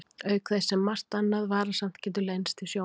Auk þess sem margt annað varasamt getur leynst í sjónum.